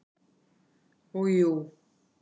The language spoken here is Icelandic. Og jú.